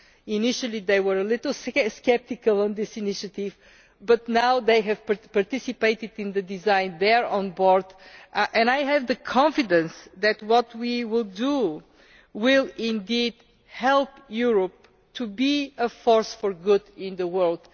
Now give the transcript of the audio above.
Initially they were a little sceptical of this initiative, but now that they have participated in the design, they are on board. I have the confidence that what we will do will indeed help Europe to be a force for good in the world.